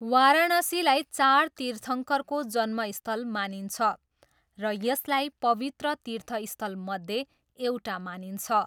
वाराणसीलाई चार तीर्थङ्करको जन्मस्थल मानिन्छ र यसलाई पवित्र तीर्थस्थलमध्ये एउटा मानिन्छ।